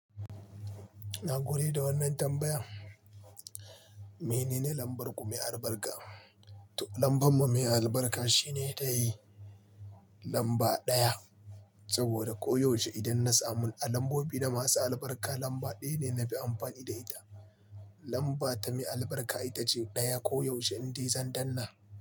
Na gode da wannan tambayan. Menene lambar ku mai albarka? Lambar mu mai albarka shine tayi lamba ɗaya, saboda koyaushe idan na samu lambobi da masu albarka lamba ɗaya ne na fi amfani da ita. Lamba ta mai albarka ita ce ɗaya, koyaushe indi zan danna.